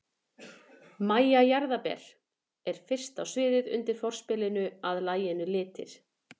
MÆJA JARÐARBER er fyrst á sviðið undir forspilinu að laginu Litir.